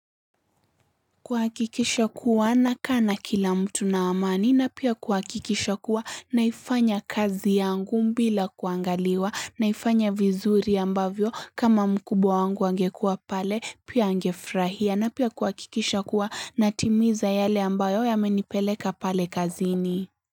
Kuhakikisha kuwa nakaa na kila mtu na amani na pia kuhakikisha kuwa naifanya kazi yangu bila kuangaliwa naifanya vizuri ambavyo kama mkubwa wangu angekua pale pia angefurahia na pia kuhakikisha kuwa natimiza yale ambayo yamenipeleka pale kazini.